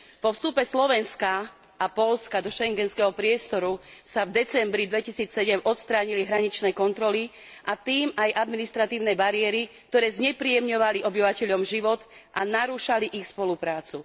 Po vstupe Slovenska a Poľska do schengenského priestoru sa v decembri 2007 odstránili hraničné kontroly, a tým aj administratívne bariéry, ktoré znepríjemňovali obyvateľom život a narúšali ich spoluprácu.